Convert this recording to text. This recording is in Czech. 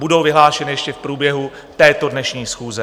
Budou vyhlášeny ještě v průběhu této dnešní schůze.